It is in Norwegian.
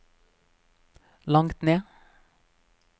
langt ned